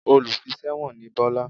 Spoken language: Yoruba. Olùfiṣẹ̀wọ̀n ni Bọ́lá